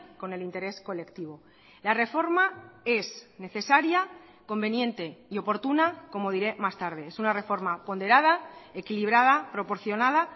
con el interés colectivo la reforma es necesaria conveniente y oportuna como diré más tarde es una reforma ponderada equilibrada proporcionada